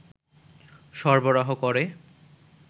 সরবরাহ করে